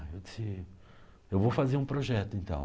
Eu disse: eu vou fazer um projeto, então.